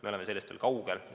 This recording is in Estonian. Me oleme sellest veel kaugel.